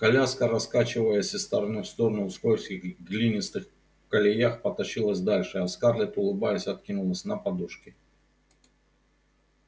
коляска раскачиваясь из стороны в сторону в скользких глинистых колеях потащилась дальше а скарлетт улыбаясь откинулась на подушки